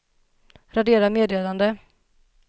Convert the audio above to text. radera meddelande